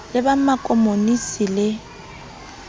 le ba ma komonisi le